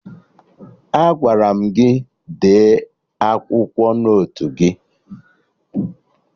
Agwara m gị dee akwụkwọ n'otu gị!